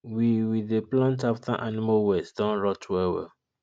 we we dey plant after animal waste don rot well well